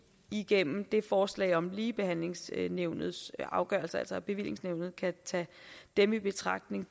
igennem det forslag om ligebehandlingsnævnets afgørelser altså at bevillingsnævnet kan tage dem i betragtning